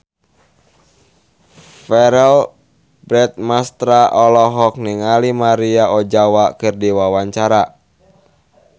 Verrell Bramastra olohok ningali Maria Ozawa keur diwawancara